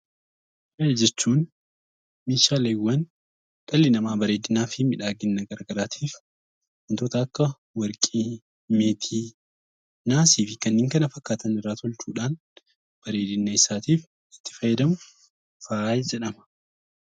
Faaya jechuun meeshaaleewwan dhalli namaa bareedinaa fi miidhagina gara garaatiif wantoota akka warqii, meetii, naasii fi kanneen kana fakkaatan irraa tolchuudhaan bareedina isaatiif itti fayyadamu 'Faaya' jedhama.